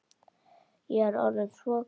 Ég er orðin svo gömul.